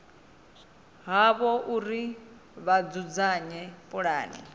havho uri vha dzudzanye pulane